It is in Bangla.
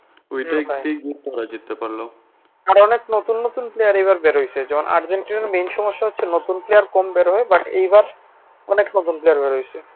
আর অনেক নতুন নতুন player এবার বের হয়েছে আর্জেন্টিনার main সমস্যা হচ্ছে নতুন player কম বের হয় but এইবার অনেক নতুন player বের হয়েছে।